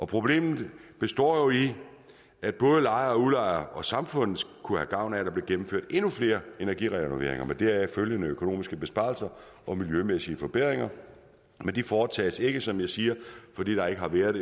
problemet består i at både lejere og udlejere og samfundet kunne have gavn af at der blev gennemført endnu flere energirenoveringer med deraf følgende økonomiske besparelser og miljømæssige forbedringer men de foretages ikke som jeg siger fordi der ikke har været